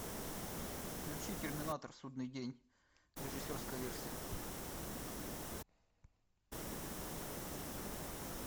включи терминатор судный день режиссерская версия